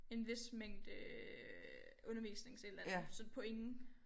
En vis mængde undervisnings et eller andet så point